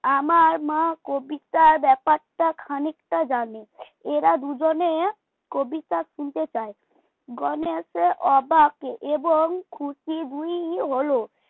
আমার মা কবিতার ব্যাপারটা খানিকটা জানে এরা দুজনে কবিতা শুনতে চায় গণেশ অবাক এবং খুশি দুই হল